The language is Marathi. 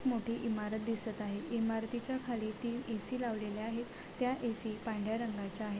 मोठी ईमारत दिसत आहे ईमारतीच्या खाली तीन ए_सी लावलेल्या आहेत त्या ए_सी पाढऱ्या रंगाच्या आहे